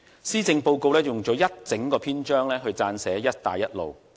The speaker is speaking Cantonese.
施政報告用了一整個篇章撰寫"一帶一路"。